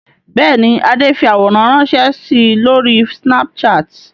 Bẹ́ẹ̀ ni, Adé fi àwòrán ránṣẹ́ si lórí Snapchat.